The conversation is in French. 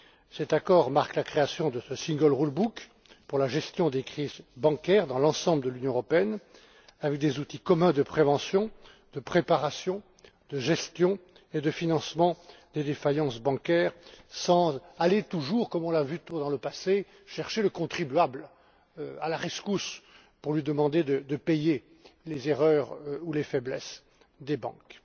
Cet accord marque la création de ce single rule book pour la gestion des crises bancaires dans l'ensemble de l'Union européenne avec des outils communs de prévention, de préparation, de gestion et de financement des défaillances bancaires sans aller toujours, comme on l'a trop souvent vu dans le passé, chercher le contribuable à la rescousse pour lui demander de payer les erreurs ou les faiblesses des banques.